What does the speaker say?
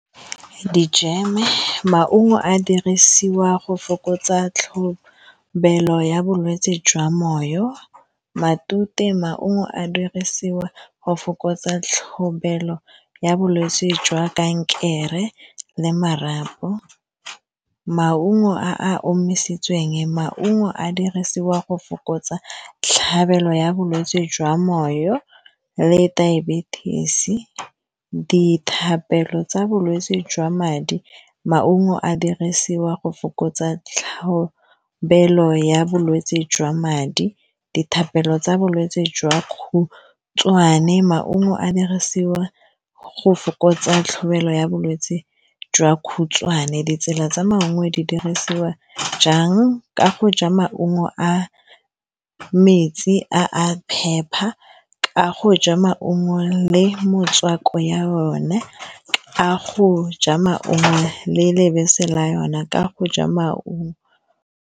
Di jam-e, maungo a dirisiwa go fokotsa tlhobelo ya bolwetsi jwa moyo matute maungo a dirisiwa go fokotsa tlhobelo ya bolwetsi jwa kankere le marapo maungo a a omisitsweng maungo a dirisiwa go fokotsa tlhabelo ya bolwetsi jwa moyo le diabetic dithapelo tsa bolwetsi jwa madi maungo a dirisiwa go fokotsa tlhobelo ya bolwetsi jwa madi dithapelo tsa bolwetsi jwa khutshwane maungo a dirisiwa go fokotsa tlhabelo ya bolwetsi jwa khutshwane ditsela tsa mangwe di dirisiwa jang ka go ja maungo a metsi a a phepa ka go ja maungo le motswako ya yone a go ja maungo le lebese la yona ka go ja maungo.